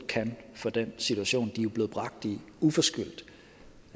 kan fra den situation de uforskyldt